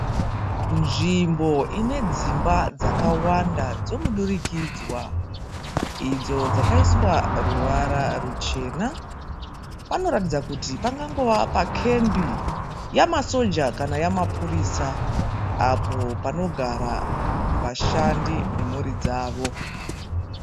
Nzvimbo ine dzimba dzakawanda dzomudurikidzwa. Idzo dzakaiswa ruvara ruchena. Panoratidza kuti pangangova pakembi yamasoja kana yamapurisa apo panogara vashandi nemhuri dzavo.